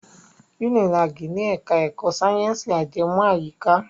Unilag ni ẹ̀ka ẹ̀kọ́ sáyẹ̀nsì ajẹmọ́ àyíká.